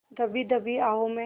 दबी दबी आहों में